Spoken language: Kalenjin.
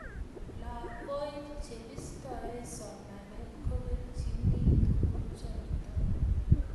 lakoik chebistoi somanet kobekchini tukuchotp